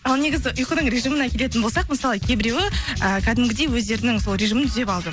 ал негізі ұйқының режиміне келетін болсақ мысалы кейбіреуі ыыы кәдімгідей өздерінің сол режимін түзеп алды